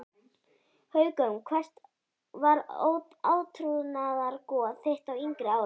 Haukum Hvert var átrúnaðargoð þitt á yngri árum?